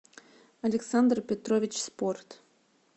александр петрович спорт